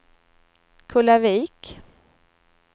Kullavik